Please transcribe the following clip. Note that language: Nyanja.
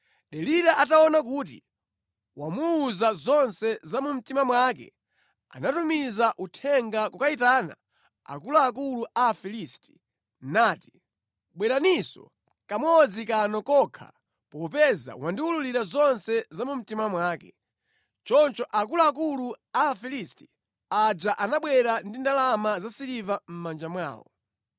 Delila ataona kuti wamuwuza zonse za mu mtima mwake anatumiza uthenga kukayitana akuluakulu a Afilisti nati, “Bweraninso kamodzi kano kokha popeza wandiwululira zonse za mu mtima mwake.” Choncho akuluakulu a Afilisti aja anabwera ndi ndalama za siliva mʼmanja mwawo.